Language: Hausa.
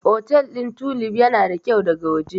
Otel ɗin Tulif yana da kyau daga waje.